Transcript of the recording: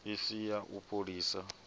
i si ya u fholisa